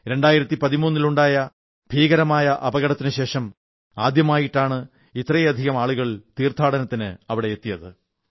2013 ൽ ഉണ്ടായ മഹാ ദുരന്തത്തിനുശേഷം ആദ്യമായിട്ടാണ് ഇത്രയധികം ആളുകൾ തീർഥാടനത്തിന് അവിടെ എത്തിയത്